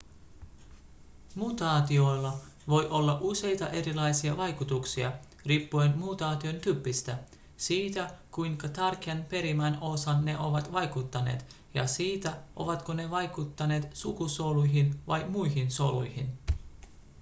mutaatioilla voi olla useita erilaisia vaikutuksia riippuen mutaation tyypistä siitä kuinka tärkeään perimän osaan ne ovat vaikuttaneet ja siitä ovatko ne vaikuttaneet sukusoluihin vai muihin soluihin